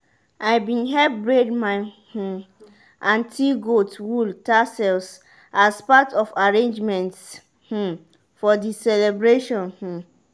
i been help braid my um aunty goat wool tassels as part of arrangements um for the celebration. um